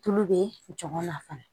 Tulu bɛ jɔgɔn na fana